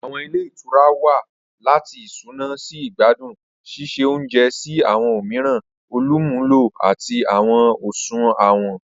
Awọn ìle ìtura wa lati isuna si igbadun, ṣiṣe ounjẹ si awọn omiiran olumulo ati awọn isunawo.